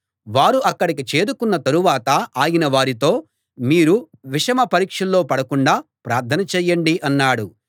వారు అక్కడికి చేరుకున్న తరువాత ఆయన వారితో మీరు విషమ పరీక్షలో పడకుండా ప్రార్థన చేయండి అన్నాడు